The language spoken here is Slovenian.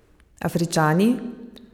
Afričani?